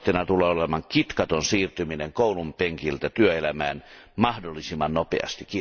Tavoitteena tulee olemaan kitkaton siirtyminen koulunpenkiltä työelämään mahdollisimman nopeasti.